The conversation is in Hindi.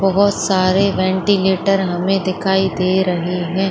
बहुत सारे वेंटीलेटर हमें दिखाई दे रही है।